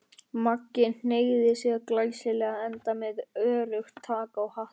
Maggi hneigði sig glæsilega, enda með öruggt tak á hattinum.